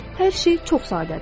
Hər şey çox sadədir.